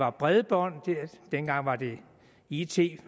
og bredbånd dengang var det it